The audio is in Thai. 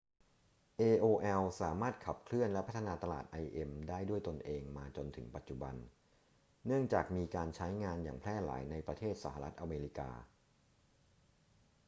aol สามารถขับเคลื่อนและพัฒนาตลาด im ได้ด้วยตนเองมาจนถึงปัจจุบัน เนื่องจากมีการใช้งานอย่างแพร่หลายในประเทศสหรัฐอเมริกา